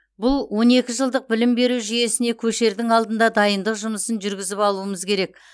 бұл он екі жылдық білім беру жүйесіне көшердің алдында дайындық жұмысын жүргізіп алуымыз керек